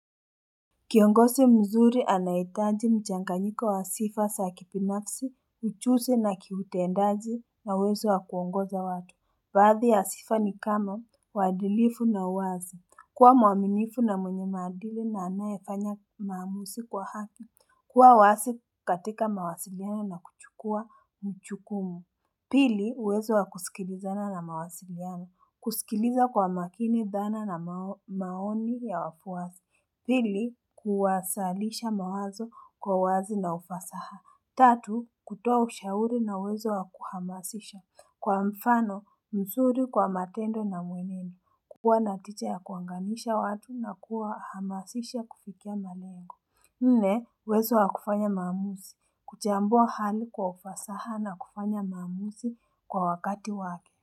Kiongozi mzuri anahitaji mchanganyiko wa sifa za kibinafsi, ujuzi na kiutendaji na uwezo wa kuongoza watu. Baadhi ya sifa ni kama, uadilifu na uwazi. Kuwa mwaminifu na mwenye maadili na anayefanya maamuzi kwa haki. Kuwa wazi katika mawasiliano na kuchukua mjukumu. Pili, uwezo wa kusikilizana na mawasiliano. Kusikiliza kwa makini dhana na maoni ya wafwasi. Pili, kuwasilisha mawazo kwa uwazi na ufasaha. Tatu, kutoa ushauri na uwezo wa kuhamasisha. Kwa mfano, mzuri kwa matendo na mweneni. Kuwa na ticha ya kuanganisha watu na kuwahamasisha kufikia malengo. Nne, uwezo wa kufanya maamuzi. Kuchambua hali kwa ufasaha na kufanya maamuzi kwa wakati waki.